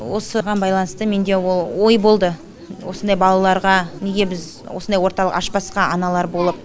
осыған байланысты менде ол ой болды осындай балаларға неге біз осындай орталық ашпасқа аналар болып